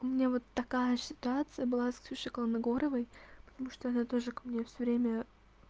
у меня вот такая ситуация была с ксюшей колмагоровой потому что она тоже ко мне всё время